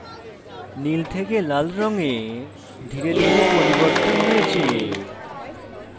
নীল থেকে লাল রঙে ধীরে ধীরে পরিবর্তন হয়েছে